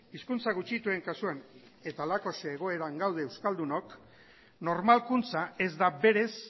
hizkuntza gutxituen kasuan eta halakoxe egoeran gaude euskaldunok normalkuntza ez da berez